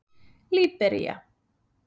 Líbería